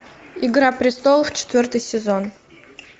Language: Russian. игра престолов четвертый сезон